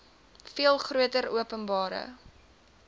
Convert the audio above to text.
veel groter openbare